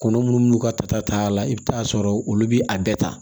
Kɔnɔ munnu n'u ka tata la i bi taa sɔrɔ olu bi a bɛɛ ta